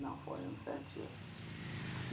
foi uns sete anos.